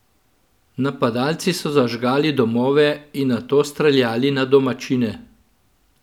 Napadalci so zažgali domove in nato streljali na domačine.